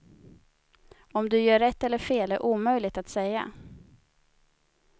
Om du gör rätt eller fel är omöjligt att säga.